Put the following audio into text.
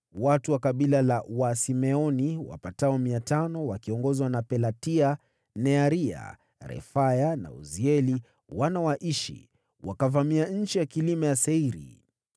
Watu wa kabila la wa Simeoni wapatao mia tano, wakiongozwa na Pelatia, Nearia, Refaya na Uzieli wana wa Ishi, wakavamia nchi ya vilima ya Seiri.